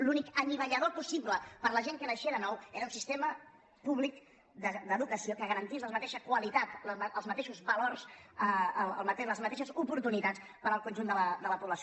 l’únic anivellador possible per a la gent que naixia de nou era un sistema públic d’educació que garantís la mateixa qualitat els mateixos valors les mateixes oportunitats per al conjunt de la població